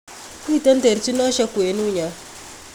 Miten terchinoshek kwenunyon